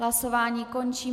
Hlasování končím.